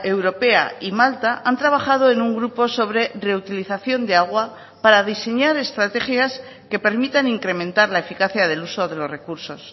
europea y malta han trabajado en un grupo sobre reutilización de agua para diseñar estrategias que permitan incrementar la eficacia del uso de los recursos